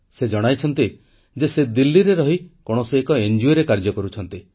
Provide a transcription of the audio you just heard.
ସେ ଜଣାଇଛନ୍ତି ଯେ ସେ ଦିଲ୍ଲୀରେ ରହି କୌଣସି ଏକ ସ୍ୱେଚ୍ଛାସେବୀ ଅନୁଷ୍ଠାନ କାର୍ଯ୍ୟ କରୁଛନ୍ତି